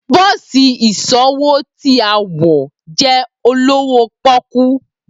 Bosi iṣowo ti a wọ jẹ olowo poku.